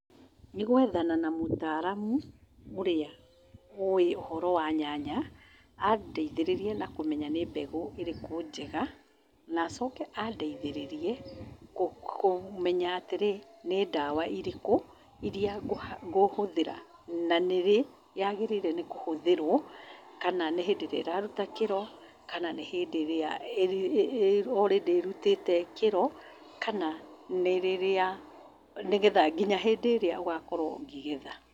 Nĩgwethana na mũtaaramu ũrĩa oĩũhoro wa nyanya, andeithĩrĩrie na kũmenya nĩmbegũ ĩrĩkũ njega kũ kũmenya atĩrĩ, nĩ ndawa irĩkũ iria ngũha ngũhũthĩra na nĩrĩ yagĩrĩirwo nĩkũhũthĩrwo, nĩhĩndĩ ĩrĩa ĩraruta kĩro, kana nĩhĩndĩ ĩrĩa already ĩrutĩte kĩro kana nĩrĩrĩa , nginya hĩndĩ ĩrĩa ũgakorwo ũkĩgetha.